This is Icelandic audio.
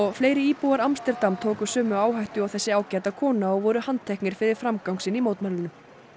fleiri íbúar Amsterdam tóku sömu áhættu og þessi ágæta kona og voru handteknir fyrir framgang sinn í mótmælunum